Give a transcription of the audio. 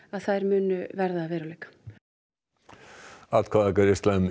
að þær muni verða að veruleika atkvæðagreiðsla um